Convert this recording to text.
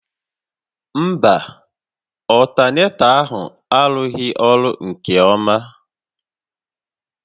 Mba, ọltanetọ ahụ arụghị ọrụ nke ọma